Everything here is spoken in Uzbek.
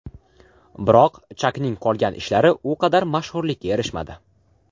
Biroq Chakning qolgan ishlari u qadar mashhurlikka erishmadi.